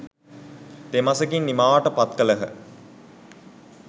තෙමසකින් නිමාවට පත් කළහ.